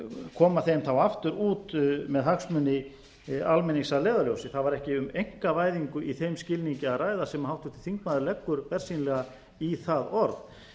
koma þeim þá aftur út með hagsmuni almennings að leiðarljósi það var ekki um einkavæðingu í þeim skilningi að ræða sem háttvirtur þingmaður leggur bersýnilega í það orð